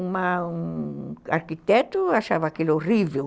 Uma um arquiteto achava aquilo horrível.